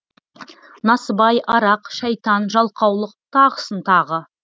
насыбай арақ шайтан жалқаулық тағысын тағы